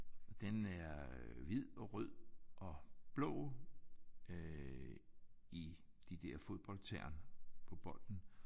Og den er hvid og rød og blå øh i de der fodboldtern på bolden